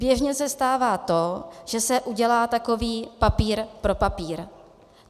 Běžně se stává to, že se udělá takový papír pro papír.